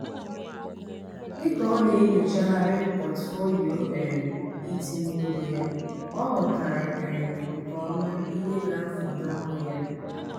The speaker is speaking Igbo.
dịka ọ na-enyochagharị pọtufolio um itinye ego ya ọ ghọtara um nke ọma ihe ga-efunahu ya